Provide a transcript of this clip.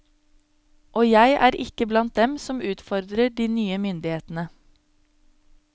Og jeg er ikke blant dem som utfordrer de nye myndighetene.